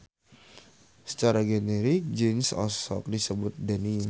Sacara generik jins osok disebut denim.